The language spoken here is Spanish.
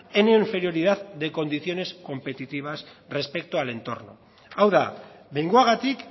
en inferioridad en condiciones competitivas respecto al entorno hau da behingoagatik